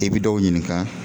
I bi dɔw ɲininka